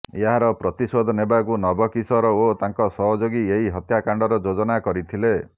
ଏହାର ପ୍ରତିଶୋଧ ନେବାକୁ ନବକିଶୋର ଓ ତାଙ୍କ ସହଯୋଗୀ ଏହି ହତ୍ୟାକାଣ୍ଡର ଯୋଜନା କରିଥିଲେ